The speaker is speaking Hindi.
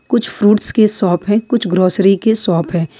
कुछ फ्रूट्स के शॉप है कुछ ग्रोसरी के शॉप है।